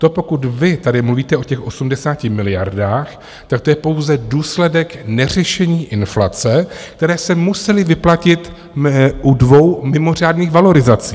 To, pokud vy tady mluvíte o těch 80 miliardách, tak to je pouze důsledek neřešení inflace, které se musely vyplatit u dvou mimořádných valorizací.